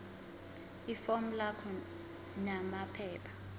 ifomu lakho namaphepha